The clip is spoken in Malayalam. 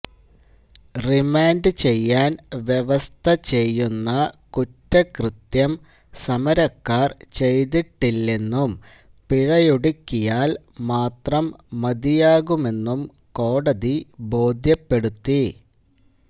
റിമാന്ഡ് ചെയ്യാന് വ്യവസ്ഥചെയ്യുന്ന കുറ്റകൃത്യം സമരക്കാര് ചെയ്തിട്ടില്ലെന്നും പിഴയൊടുക്കിയാല് മാത്രം മതിയാകുമെന്നും കോടതി ബോധ്യപ്പെടുത്തി